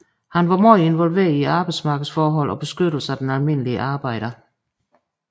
Han var meget involveret i arbejdsmarkedsforhold og beskyttelsen af den almindelige arbejder